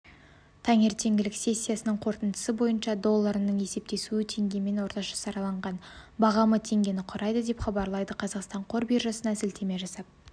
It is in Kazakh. таңертеңгілік сессиясының қорытындысы бойынша долларының есептесуі теңгемен орташа сараланған бағамы теңгені құрайды деп хабарлайды қазақстан қор биржасына сілтеме жасап